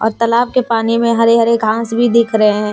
तालाब के पानी में हरे हरे घास भी दिख रहे हैं।